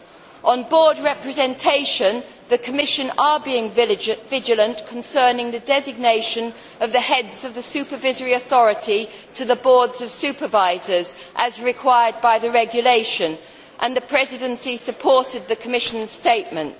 Concerning board representation, the Commission is being vigilant concerning the designations by the heads of the supervisory authority to the boards of supervisors, as required by the regulation, and the Presidency supported the Commission statement.